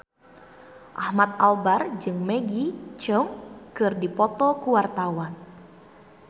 Ahmad Albar jeung Maggie Cheung keur dipoto ku wartawan